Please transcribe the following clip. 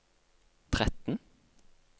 tretten